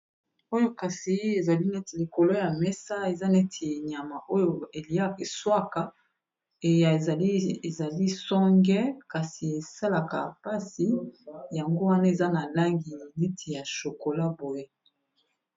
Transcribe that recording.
Oyo kasi ezali neti likolo ya mesa eza neti enyama oyo elieswaka eya ezali songe kasi esalaka mpasi yango wana eza na langi liti ya shokola boye.